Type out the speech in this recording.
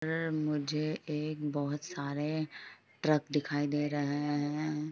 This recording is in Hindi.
मुझे एक बहोत सारे ट्रक दिखाय दे रहे है।